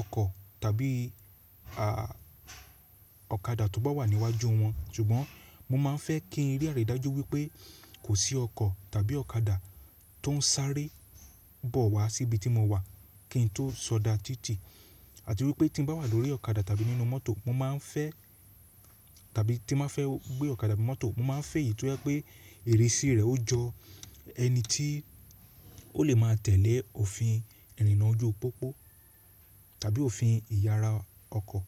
ọkọ̀ tàbí ọ̀kadà tó bá wà níwájú wọn. Ṣùgbọ́n mo má a fẹ́ kí iré rẹ̀ dájú wípé kò sí ọkọ̀ tàbí ọ̀kadà tó ń sárẹ́ bọ̀ wá sí ibi tí mo wà kí n tó sọdá títì àti wípé tí bá wà lórí ọ̀kadà tàbí nínú mọ́tò, mo má a fẹ́ tàbí tí mo fẹ́ gbé ọ̀kadà àti mọ́tò, mo má a fẹ́ èyí tó jẹ́ pé ìrísí rẹ ó jọ ẹni tí ó lè má a tẹ̀lé òfin ìrìnnà ojú pópó tàbí òfin ìyara ọkọ̀.